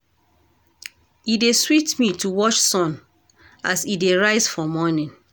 E dey sweet me to watch sun as e dey rise for morning.